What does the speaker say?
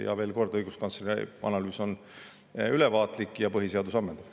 Ja veel kord, õiguskantsleri analüüs on ülevaatlik ja põhiseadus ammendav.